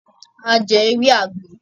A jẹ ewé àgbo